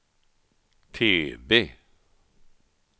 TV